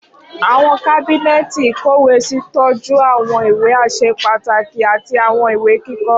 Awọn kábínẹ́ẹ̀tì ìkọ́wèésí tọju awọn iwe aṣẹ pataki ati awọn iwe kikọ.